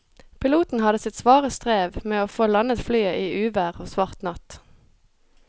Piloten hadde sitt svare strev med å få landet flyet i uvær og svart natt.